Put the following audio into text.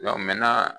mɛmɛnna